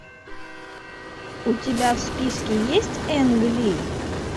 у тебя в списке есть энг ли